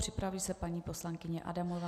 Připraví se paní poslankyně Adamová.